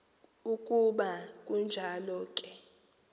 ukuba kunjalo ke